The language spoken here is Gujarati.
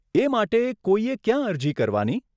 એ માટે કોઈએ ક્યાં અરજી કરવાની?